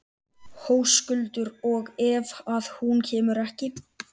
Höskuldur: Og ef að hún kemur ekki?